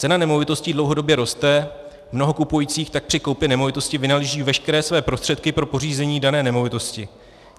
Cena nemovitostí dlouhodobě roste, mnoho kupujících tak při koupi nemovitosti vynaloží veškeré své prostředky pro pořízení dané nemovitosti.